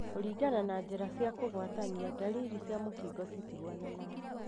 Kũringana na njira cia kũgwatania, ndariri cia mũkingo citihuananaga.